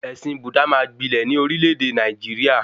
Ẹ̀sìn Búdà máa gbilẹ̀ ní orílẹ̀-èdè Nàìjíríà